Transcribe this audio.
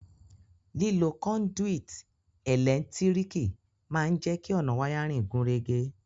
Lílo conduit ẹ́lẹ̀ntíríkì ma n je ki ọ̀nà wiring gúnrégé